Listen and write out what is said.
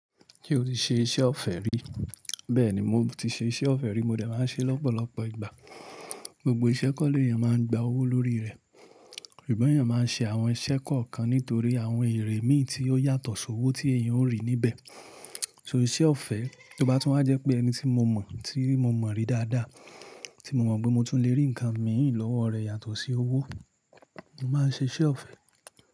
Ṣé o ti ṣe iṣẹ́ ọ̀fẹ́ rí? Bẹ́ẹ̀ni, mo ti ṣe iṣẹ́ ọ̀fẹ́ rí, mo dẹ̀ máa ń ṣe lọ́pọ̀lọpọ̀ ìgbà. Gbogbo ìṣẹ́ kọ́ ni èèyàn máa ń gba owó lórí rẹ̀, ṣùgbọ́n èèyàn máa ń ṣe àwọn ìṣẹ́ kọ̀ọ̀kan nítorí àwọn èrè mí ì tí ó yàtọ̀ sí owó tí èèyàn ó rí níbẹ̀. Torí iṣẹ́ ọ̀fẹ́, tó bá tún wá jẹ́ pé ẹni tí mo mọ̀, tí mo mọ̀ rí dáadáa, tí mo mọ̀ pé mo tún lè rí ǹnkan mìí lọ́wọ́ rẹ̀ yàtọ̀ sí owó, mo máa ṣe iṣẹ́ ọ̀fẹ́.